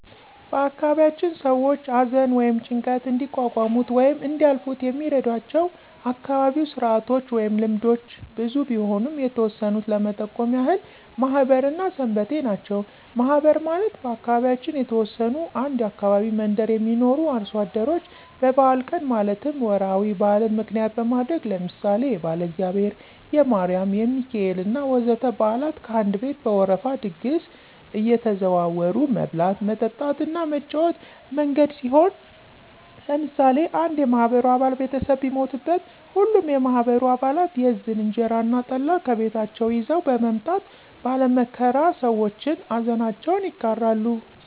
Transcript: በአካባቢያችን ሰዎች አዘን ወይም ጭንቀት እንዲቋቋሙት ወይም እንዲያልፋት የሚረዷቸው አካባቢያዉ ስርአቶች ወይም ልምዶች ብዙ ቢሆኑም የተወሰኑት ለመጠቆም ያህል ማህበር እና ሰንበቴ ናቸው። ማህበር ማለት በአካባቢያችን የተወሰኑ አንድ አካባቢ መንደር የሚኖሩ አርሶ አደሮች በበአል ቀን ማለትም ወራዊ በአልን ምክንያት በማድረግ ለምሳሌ የባለእግዚአብሔር፣ የማሪም፣ የሚካኤሌ እና ወዘተ በአላት ከአንድ ቤት በወረፋ ድግስ አየተዘዋወሩ መብላት፣ መጠጣት እና መጫወቻ መንገድ ሲሆን ለምሳሌ አንድ የማህበሩ አባል ቤተሰብ ቢሞትበት ሀሉም የማህበሩ አባለት የዝን (እንጀራ እና ጠላ) ከቤታቸው ይዘዉ በመምጣት ባለ መከራ ሰዎችን አዘናቸውን ይጋራሉ።